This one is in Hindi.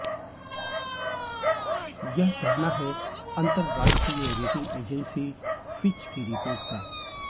यह कहना है अंतरराष्ट्रीय रेटिंग एजेंसी फिच की रिपोर्ट का